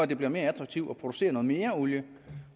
det bliver mere attraktivt at producere noget mere olie